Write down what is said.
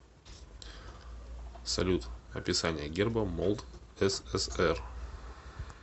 салют описание герба молдсср